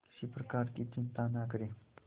किसी प्रकार की चिंता न करें